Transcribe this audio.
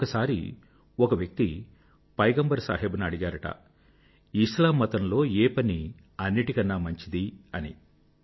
ఒకసారి ఒక వ్యక్తి పైగంబర్ సాహెబ్ ను అడిగారట ఇస్లాం మతం లో ఏ పని అన్నింటికన్నా మంచిది అని